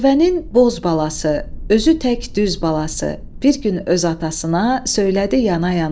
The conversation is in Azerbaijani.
Dəvənin boz balası, özü tək düz balası bir gün öz atasına söylədi yana-yana.